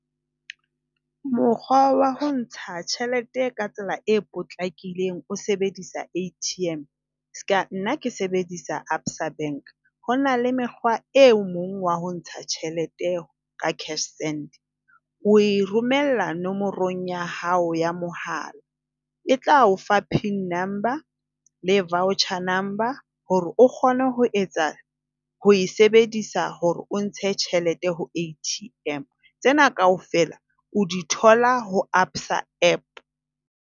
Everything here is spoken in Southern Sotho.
Mokgwa wa ho ntsha tjhelete ka tsela e potlakileng o sebedisa ATM, seka nna ke sebedisa ABSA bank. Ho na le mekgwa o mong wa ho ntsha tjhelete ka Cashsend. O e romella nomorong ya hao ya mohala. E tla o fa pin number le voucher number hore o kgone ho etsa ho e sebedisa hore o ntshe tjhelete ho ATM. Tsena kaofela o di thola ho ABSA app.